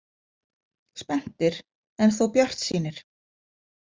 Spenntir en þó bjartsýnir.